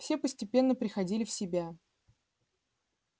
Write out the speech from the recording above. все постепенно приходили в себя